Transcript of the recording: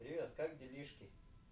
привет как делишки